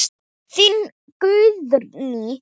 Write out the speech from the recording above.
Þín Guðný.